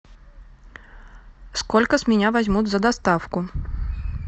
сколько с меня возьмут за доставку